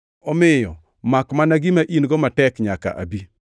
omiyo makmana gima in-go matek nyaka abi.’